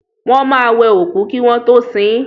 Wọ́n máa wẹ òkú kí wọ́n tọ́ sin.